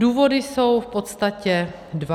Důvody jsou v podstatě dva.